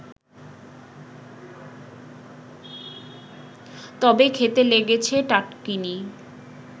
তবে খেতে লেগেছে টাটকিনি